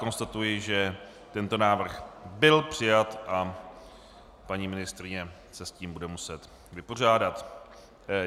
Konstatuji, že tento návrh byl přijat a paní ministryně se s tím bude muset vypořádat.